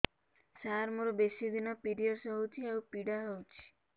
ସାର ମୋର ବେଶୀ ଦିନ ପିରୀଅଡ଼ସ ହଉଚି ଆଉ ପୀଡା ହଉଚି